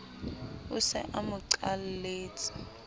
o se a mo qalletse